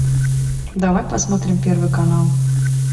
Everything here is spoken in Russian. давай посмотрим первый канал